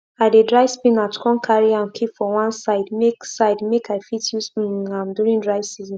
i dey dry spinach come carry am keep for one side make side make i fit use um am during dry season